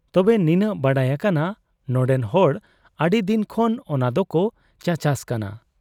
ᱛᱚᱵᱮ, ᱱᱤᱱᱟᱹᱜ ᱵᱟᱰᱟᱭ ᱟᱠᱟᱱᱟ ᱱᱚᱱᱰᱮᱱ ᱦᱚᱲ ᱟᱹᱰᱤᱫᱤᱱ ᱠᱷᱚᱱ ᱚᱱᱟᱫᱚᱠᱚ ᱪᱟᱪᱟᱥ ᱠᱟᱱᱟ ᱾